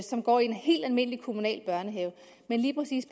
som går i en helt almindelig kommunal børnehave men lige præcis